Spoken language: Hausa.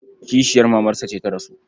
Kishiyar mamarsa ce ta rasu.